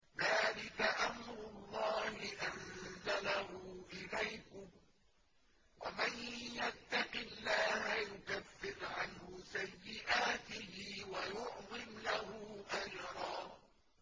ذَٰلِكَ أَمْرُ اللَّهِ أَنزَلَهُ إِلَيْكُمْ ۚ وَمَن يَتَّقِ اللَّهَ يُكَفِّرْ عَنْهُ سَيِّئَاتِهِ وَيُعْظِمْ لَهُ أَجْرًا